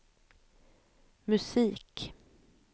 musik